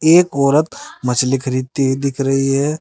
एक औरत मछली खरीदती हुई दिख रही है।